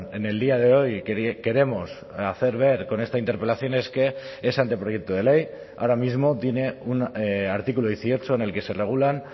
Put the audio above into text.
en el día de hoy queremos hacer ver con esta interpelación es que ese anteproyecto de ley ahora mismo tiene un artículo dieciocho en el que se regulan